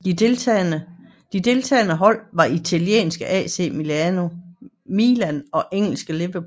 De deltagende hold var italienske AC Milan og engelske Liverpool